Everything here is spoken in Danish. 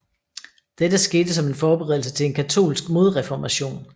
Dette skete som en forberedelse til en katolsk modreformation